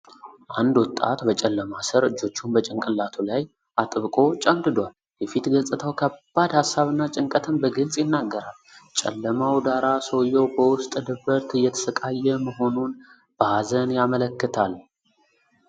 አንድ ወጣት በጨለማ ስር እጆቹን በጭንቅላቱ ላይ አጥብቆ ጭምድዷል። የፊት ገጽታው ከባድ ሀሳብና ጭንቀትን በግልጽ ይናገራል። ጨለማው ዳራ ሰውየው በውስጥ ድብርት እየተሰቃየ መሆኑን በሐዘን ያመለክታል።